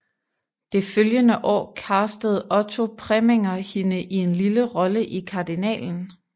Det følgende år castede Otto Preminger hende i en lille rolle i Kardinalen